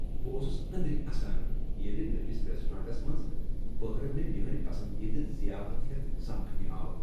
بہٕ اوس أنٛدری اسان ییٚلہ نٔوس ریسٹورانٹس منٛز بحرٕ مےٚ میٛٲنۍ پسندیدٕ ضیافت ہٮ۪تھ سمکھٕنہ آو۔